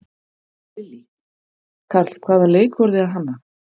Lillý: Karl, hvaða leik voruð þið að hanna?